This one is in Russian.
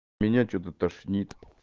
меня что-то тошнит